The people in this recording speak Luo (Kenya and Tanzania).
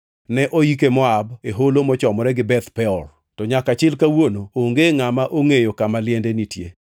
Ne oike Moab, e holo mochomore gi Beth Peor, to nyaka chil kawuono onge ngʼama ongʼeyo kama liende nitie.